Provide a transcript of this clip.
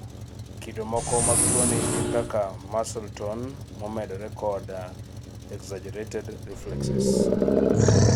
kido moko mag tuwoni gin kaka muscle tone momedorekod exxagerated reflexes